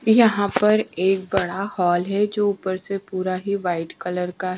यहां पर एक बड़ा हाल है जो ऊपर से पूरा ही व्हाइट कलर का--